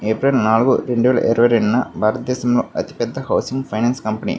April నాలుగు రెండు వేల ఇరవై రెండు న భారత దేశంలో అతి పెద్ధ హౌసింగ్ ఫైనాన్స్ కంపెనీ --